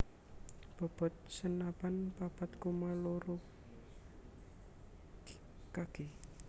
Bobot senapan papat koma loro kg